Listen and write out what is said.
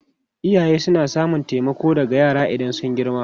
Iyaye suna samun taimako daga yara idan sun girma.